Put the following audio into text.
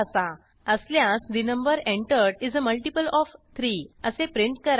असल्यास ठे number entered is a multiple of 3 असे प्रिंट करा